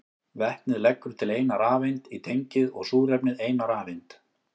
Vetnið leggur til eina rafeind í tengið og súrefnið eina rafeind.